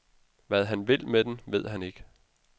Hvad han vil med den, ved han ikke.